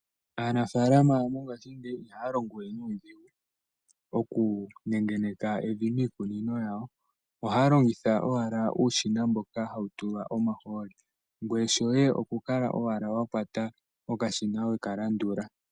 Aanafalama mongashingeyi ihaya longowe nuudhigu oku nengeneka evi miikunino yawo, ohaya longitha uushina mboka hawu tulwa omahooli, ngweye shoye oku kwata wala okashina we ka landula.